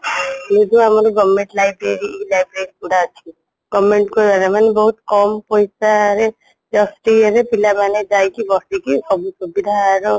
ଏଇ ଯୋଉ ଆମର government library library ଗୁଡା ଅଛି government ମାନେ ବହୁତ କମ ପଇସା ରେ just ଇଏରେ ରେ ପିଲା ମାନେ ଯାଇକି ବସିକି ସବୁ ସୁବିଧା ର